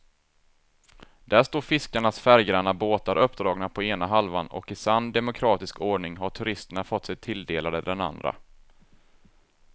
Där står fiskarnas färggranna båtar uppdragna på ena halvan och i sann demokratisk ordning har turisterna fått sig tilldelade den andra.